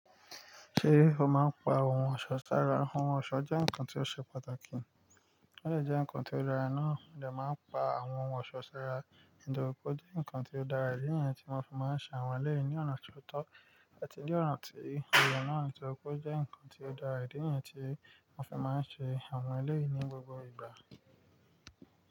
Ṣé o máa ń pa ohun ọ̀ṣọ́ sára? Ohun ọ̀ṣọ́ jẹ́ nǹkan tí ó ṣe pàtàkì, ó de nǹkan tí ó dára náà, mode máa ń pa àwọn ohun ọ̀ṣọ́ sára nítorí pé ó jẹ́ nǹkan tí ó dára, èyí niyen tí mo fi máa ń ṣe àwọn eleyi ní ọ̀nà ti ó tọ́, ẹni tí ọ̀nà tí èyí náà nítorí pé ó jẹ́ nǹkan tí ó dára, idí ni èyí tí wọ́n fi máa ń ṣe àwọn eléyi ní gbogbo ìgbà.